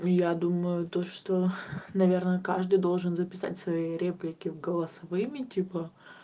я думаю то что наверное каждый должен записать свои реплики в голосовыми типа